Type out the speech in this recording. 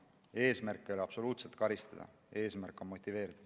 Eesmärk ei ole absoluutselt karistada, eesmärk on motiveerida.